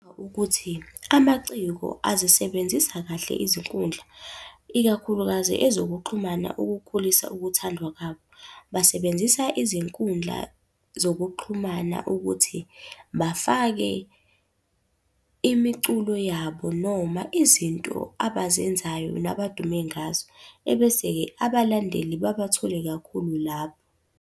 Ukuthi amaciko azisebenzisa kahle izinkundla, ikakhulukazi ezokuxhumana ukukhulisa ukuthandwa kwabo. Basebenzisa izinkundla zokuxhumana ukuthi bafake imiculo yabo noma izinto abazenzayo nabadume ngazo, ebese-ke abalandeli babathole kakhulu lapho.